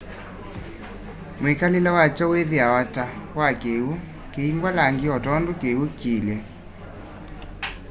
mwikalile wakyo wiithiwa ta wa kiw'u kiyingwa langi o tondu kiw'u kiilye